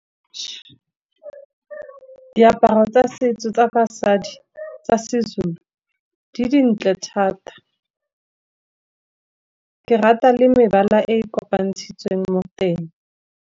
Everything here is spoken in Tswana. Diaparo tsa setso tsa basadi tsa seZulu di dintle thata, ke rata le mebala e kopantshitsweng mo teng.